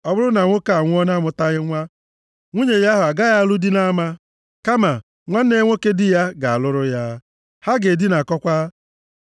Ọ bụrụ na nwoke anwụọ na-amụtaghị nwa, nwunye ya ahụ agaghị alụ di nʼama, kama nwanne nwoke di ya ga-alụrụ ya, ha ga-edinakọkwa.